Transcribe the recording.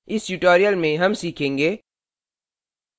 इस tutorial में हम सीखेंगे